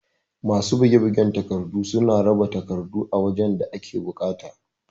Masu buge bugen takardu suna raba takardun a wajan da ake buƙata